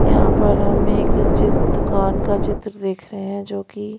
यहां पर हम एक चित्र दुकान का चित्र देख रहे हैं जो कि--